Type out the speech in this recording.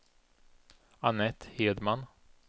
Anette Hedman